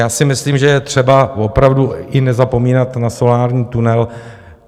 Já si myslím, že je třeba opravdu i nezapomínat na solární tunel.